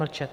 Mlčet.